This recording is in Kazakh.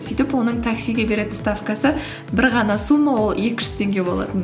сөйтіп оның таксиге беретін ставкасы бір ғана сумма ол екі жүз теңге болатын